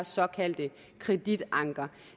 såkaldte kreditanker